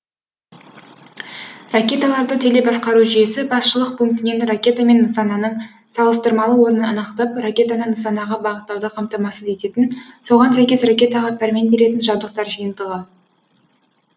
ракеталарды телебасқару жүйесі басшылық пунктінен ракета мен нысананың салыстырмалы орнын анықтап ракетаны нысанаға бағыттауды қамтамасыз ететін соған сәйкес ракетаға пәрмен беретін жабдықтар жиынтығы